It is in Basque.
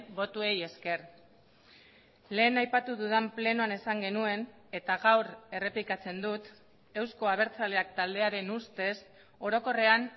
botoei esker lehen aipatu dudan plenoan esan genuen eta gaur errepikatzen dut euzko abertzaleak taldearen ustez orokorrean